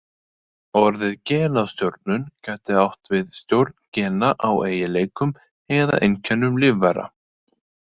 Orðið genastjórnun gæti átt við stjórn gena á eiginleikum eða einkennum lífvera.